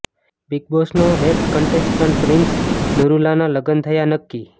big બોસનો ex contestant Prince નરૂલાના લગ્ન થયા નક્કી